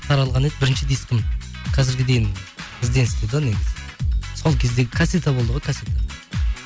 таралған еді бірінші дискім қазірге дейін ізденісте де негізі сол кезде касета болды ғой касета